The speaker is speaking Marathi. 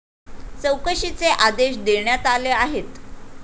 चौकशीचे आदेश देण्यात आले आहेत.